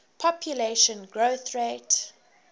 population growth rate